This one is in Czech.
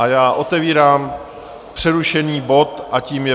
A já otevírám přerušený bod, a tím je